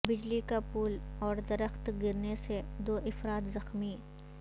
بجلی کا پول اوردرخت گرنے سے دو افراد زخمی